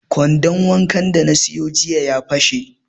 Kwandon wankan da na siyo jiya ya fashe